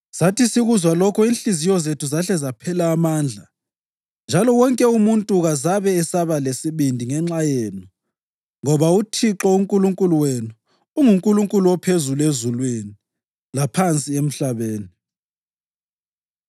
Sathi sikuzwa lokho inhliziyo zethu zahle zaphela amandla njalo wonke umuntu kazabe esaba lesibindi ngenxa yenu ngoba uThixo uNkulunkulu wenu unguNkulunkulu ophezulu ezulwini laphansi emhlabeni.